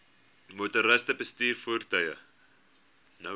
motoriste bestuur voertuie